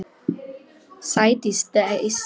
Sædís dæsir.